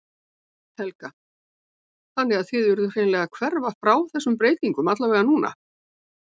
Helga: Þannig að þið urðuð hreinlega að hverfa frá þessum breytingum allavega núna?